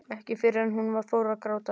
Ekki fyrr en hún fór að gráta.